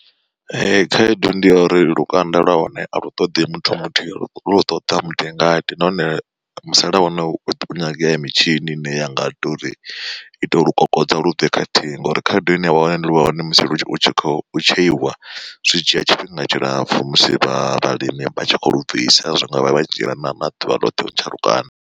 Khaedu ndi ya uri lukanda lwa hone a lu ṱoḓi muthu muthihi lu ṱoḓa mutingati nahone musalauno hu nyangea mitshini ine ya nga tori ito lukokodza lubve khathihi. Ngori khaedu ine wa wana ndi lwa hone musi u tshi khou tsheiwa zwi dzhia tshifhinga tshilapfu musi vha vhalimi vha tshi kho lu bvisa zwi ngavha vha dzhiela na ḓuvha ḽoṱhe u ntsha lukanda.